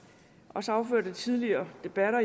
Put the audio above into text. affødt af tidligere debatter